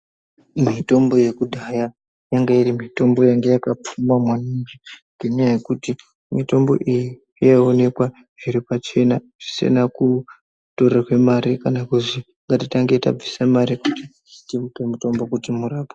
Mitombo yekudhaya yanga iri mitombo yanga yakapfuma maningi ngenyaya yekuti mitombo iyi yaiwonekwa zviri pachena , zvisina kutorerwe mari kana kuzi ngatitange tabvisa mari kuti timupe mutombo kuti murapwe.